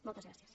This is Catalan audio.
moltes gràcies